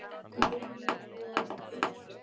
Lúlli, hættu.